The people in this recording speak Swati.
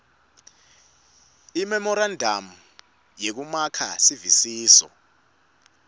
imemorandamu yekumaka sivisiso